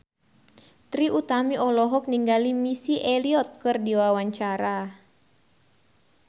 Trie Utami olohok ningali Missy Elliott keur diwawancara